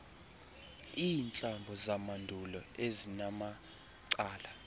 iintlambo zamandulo ezinamacala